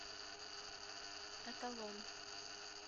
эталон